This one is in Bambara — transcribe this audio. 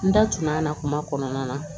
N da tununa a na kuma kɔnɔna na